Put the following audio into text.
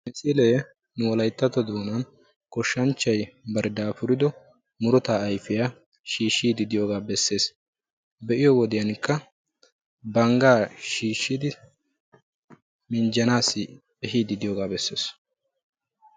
Hagee goshshanchchay ba dafuriddo murutta ehiidi de'iyooga besees. Qassikka bangga buuriddi ehiid de'iyooga besees.